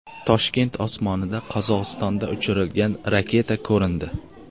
Toshkent osmonida Qozog‘istonda uchirilgan raketa ko‘rindi.